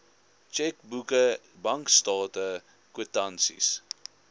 tjekboeke bankstate kwitansies